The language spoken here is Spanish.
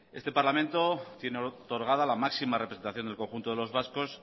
este parlamento tiene otorgada la máxima representación del conjunto de los vascos